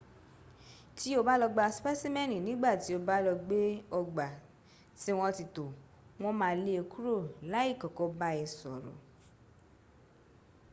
ti o ba lo gba specimeni nigba ti o ba lo be ogba ti won ti to won maa le e kuro lai koko ba e soro